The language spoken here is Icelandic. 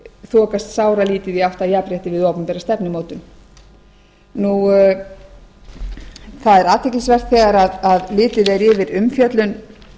þokast sáralítið í átt að jafnrétti við opinbera stefnumótun það er athyglisvert þegar litið er yfir umfjöllun